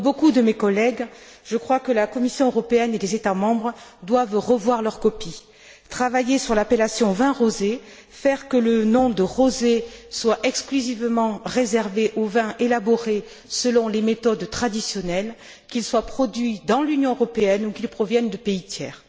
comme beaucoup de mes collègues, je crois que la Commission européenne et les États membres doivent revoir leur copie, travailler sur l'appellation vin rosé, faire que le nom de rosé soit exclusivement réservé aux vins élaborés selon les méthodes traditionnelles, qu'il soit produit dans l'Union européenne ou qu'il provienne de pays tiers.